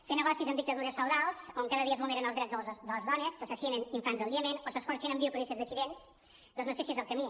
fer negocis amb dictadures feudals on cada dia es vulneren els drets de les dones s’assassinen infants al iemen o s’escorxen en viu policies dissidents doncs no sé si és el camí